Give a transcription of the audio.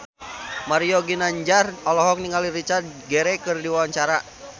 Mario Ginanjar olohok ningali Richard Gere keur diwawancara